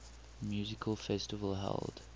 music festival held